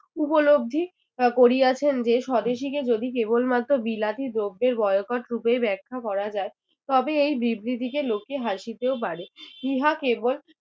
উপলব্ধি আহ করিয়াছেন যে স্বদেশীকে যদি কেবল মাত্র বিলাতি দ্রব্যের boycott রূপেই ব্যাখ্যা করা যায় তবে এই বিবৃতিকে লোকে হাসিতেও পারে ইহা কেবল